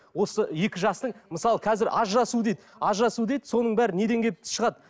осы екі жастың мысалы қазір ажырасу дейді ажырасу дейді соның бәрі неден келіп шығады